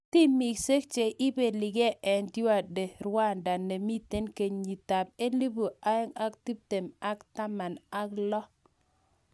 Timisiek che ibeligei eng Tour de Rwanda nemitei kenyitab elebu oeng ak tiptem ko taman ak lo